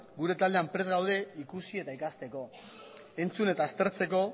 gure taldean prest gaude ikusi eta ikasteko entzun eta aztertzeko